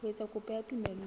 ho etsa kopo ya tumello